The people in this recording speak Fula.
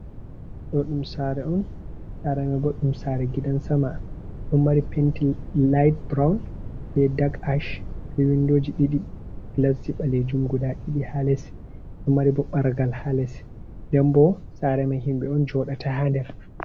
Ɗo ɗum sare on sare boɗɗum, sare gidan sama ɗum mari penti liht brown be dag ash, ha windoji ɗi glasji balejum guda ɗiɗi, ha les ɗum mari bo ɓargal ha les nden bo sare mai himɓe on joɗata ha nder.